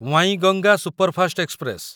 Wainganga superfast express